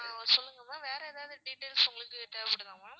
ஆஹ் சொல்லுங்க ma'am வேற எதாவது details உங்களுக்கு தேவைப்படுதா ma'am